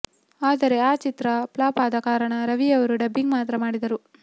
ಆದರೆ ಆ ಚಿತ್ರ ಫ್ಲಾಪ್ ಆದ ಕಾರಣ ರವಿಯವರು ಡಬ್ಬಿಂಗ್ ಮಾತ್ರ ಮಾಡಿದರು